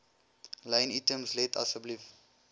lynitems let asseblief